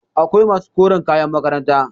akwai masu koren kayan makaranta